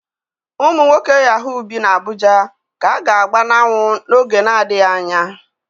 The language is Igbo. Ụmụ nwoke Yaahuu bi n'Abuja ka a ga-agba n'anwụ n'oge na-adịghị anya.